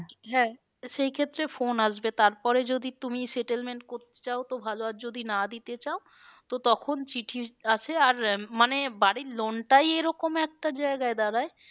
হ্যাঁ তো সেই ক্ষেত্রে phone আসবে তারপরে যদি তুমি settlement করতে চাও তো ভালো আর যদি না দিতে চাও তো তখন চিঠি আসে আর মানে বাড়ির loan টাই এরকম একটা জায়গায় দাঁড়ায়